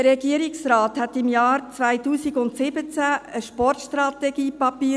Der Regierungsrat entwickelte im Jahr 2017 ein Sportstrategie-Papier.